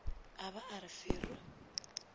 a ba a re fero